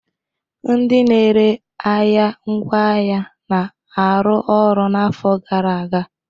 Ndị na-ere ahịa ngwaahịa na-arụ ọrụ n'afọ gara aga